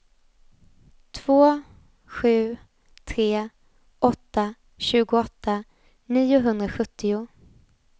två sju tre åtta tjugoåtta niohundrasjuttio